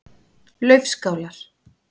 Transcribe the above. Laufskálar